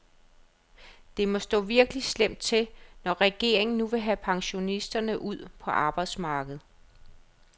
Det må stå virkelig slemt til, når regeringen nu vil have pensionisterne ud på arbejdsmarkedet.